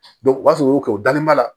u b'a fɔ u y'o kɛ u dalen b'a la